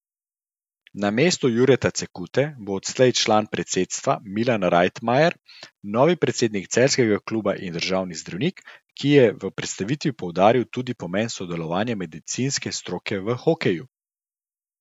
Namesto Jureta Cekute bo odslej član predsedstva Milan Rajtmajer, novi predsednik celjskega kluba in družinski zdravnik, ki je v predstavitvi poudaril tudi pomen sodelovanja medicinske stroke v hokeju.